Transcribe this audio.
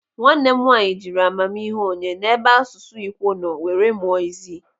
Nwanne m nwaanyị jiri amamihe onye n'ebe asụsụ Ikwo nọ were mụọ Izii.